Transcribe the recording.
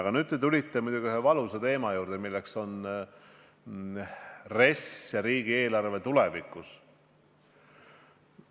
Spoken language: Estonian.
Aga nüüd te tulite muidugi ühe valusa teema juurde, milleks on RES ja riigieelarve tulevikus.